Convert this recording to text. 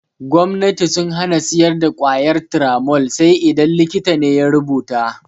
Gomnati sun hana siyar da ƙwayar Turamol sai dai idan likita ne ya rubuta.